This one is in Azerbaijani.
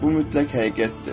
Bu mütləq həqiqətdir.